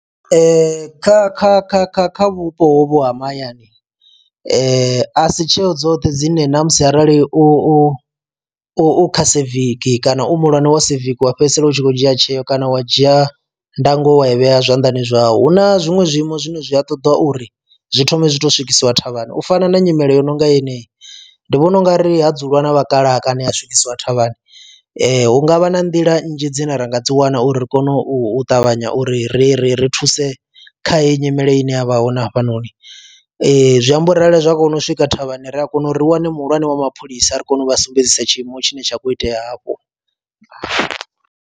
Kha kha kha kha kha vhupo hovhu ha mahayani a si tsheo dzoṱhe dzine namusi arali u u kha civic kana u muhulwane wa civic wa fhedzisela u tshi khou dzhia tsheo kana wa dzhia ndango wa i vhea zwanḓani zwau hu na zwiṅwe zwiimo zwine zwi a ṱoḓa uri zwi thome zwi to swikisiwa thavhani. U fana na nyimele yo no nga yeneyi ndi vhona u nga ri ha dzuliwa na vhakalaha kana ha swikisiwa thavhani hu ngavha na nḓila nnzhi dzine ra nga dzi wana uri ri kone u ṱavhanya uri ri ri ri thuse kha heyi nyimele ine yavha hone na hafhanoni zwi amba u ri zwa kona u swika thavhani ri a kona uri ri wane muhulwane wa mapholisa a ri kone u vha sumbedzisa tshiimo tshine tsha khou itea hafho.